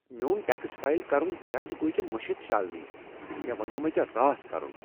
میون tax file کرُن كیازِ گوے ژے٘ مشِتھ شالنی ؟ مے٘ ووٚنِیومٕے ژے٘ راتھ كرٗن ۔